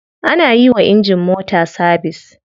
Ana yiwa injin mota sabise.